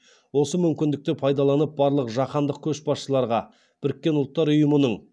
осы мүмкіндікті пайдаланып барлық жаһандық көшбасшыларға біріккен ұлттар ұйымының